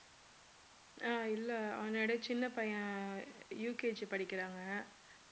அஹ் இல்ல அவனோட சின்ன பையன் UKG படிக்கிறாங்க